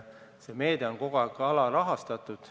See meede on kogu aeg alarahastatud.